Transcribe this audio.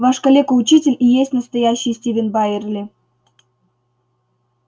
ваш калека-учитель и есть настоящий стивен байерли